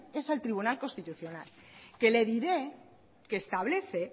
es al tribunal constitucional que le diré que establece